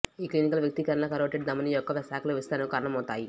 ఈ క్లినికల్ వ్యక్తీకరణలు కరోటిడ్ ధమని యొక్క శాఖల విస్తరణకు కారణమవుతాయి